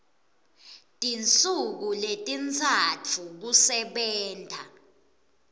tinsuku letintsatfu kusebenta